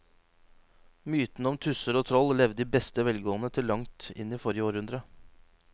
Mytene om tusser og troll levde i beste velgående til langt inn i forrige århundre.